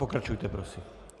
Pokračujte prosím.